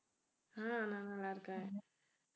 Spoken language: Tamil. ஆஹ் நான் நல்லா இருக்கேன்